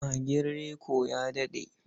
Magin Reko ya daɗe.